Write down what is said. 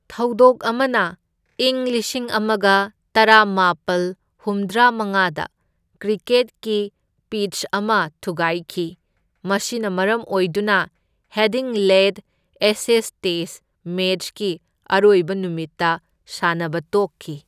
ꯊꯧꯗꯣꯛ ꯑꯃꯅ ꯏꯪ ꯂꯤꯁꯤꯡ ꯑꯃꯒ ꯇꯔꯥꯃꯥꯄꯜ ꯍꯨꯝꯗ꯭ꯔꯥ ꯃꯉꯥꯗ ꯀ꯭ꯔꯤꯀꯦꯠꯀꯤ ꯄꯤꯠꯆ ꯑꯃ ꯊꯨꯒꯥꯢꯈꯤ, ꯃꯁꯤꯅ ꯃꯔꯝ ꯑꯣꯏꯗꯨꯅ ꯍꯦꯗꯤꯡꯂꯦꯗ ꯑꯦꯁꯦꯁ ꯇꯦꯁꯇ ꯃꯦꯆꯀꯤ ꯑꯔꯣꯏꯕ ꯅꯨꯃꯤꯠꯇ ꯁꯥꯟꯅꯕ ꯇꯣꯛꯈꯤ꯫